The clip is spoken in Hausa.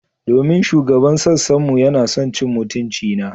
Domin shugaban sassan mu yana son cin mutuncina.